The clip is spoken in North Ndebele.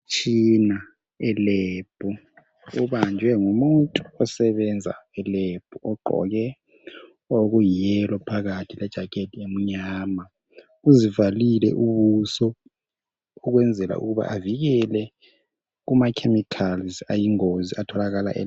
Umtshina elebhu, ubanjwe ngumuntu osebenza elebhu, ogqoke okuyellow phakathi kwe jakhethi emnyama. Uzivalile ubuso ukwenzela ukuba avikele kuma chemicals ayingozi atholakala elebhu.